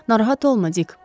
Narahat olma Dik.